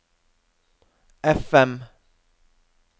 FM